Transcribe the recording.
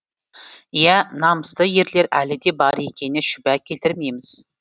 иә намысты ерлер әлі де бар екеніне шүбә келтірмейміз